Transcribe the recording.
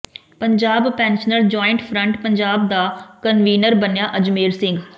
Punjab pensioner joint front Punjab ਦਾ convener ਬਣਿਆ ਅਜਮੇਰ ਸਿੰਘ